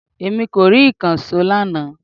Èmi kò rí ìkànsó lánàá